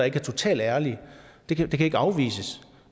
ikke er totalt ærlige det kan ikke afvises